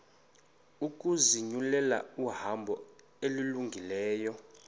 ukuzinyulela ihambo elungileyo